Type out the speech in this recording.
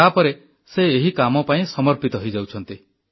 ତାପରେ ସେ ଏହି କାମ ପାଇଁ ସମର୍ପିତ ହୋଇଯାଉଛନ୍ତି